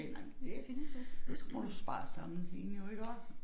Sagde jeg nej men det så må du spare sammen til én jo iggå